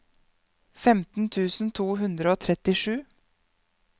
femten tusen to hundre og trettisju